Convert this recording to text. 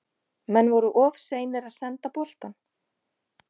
Menn voru of seinir að senda boltann.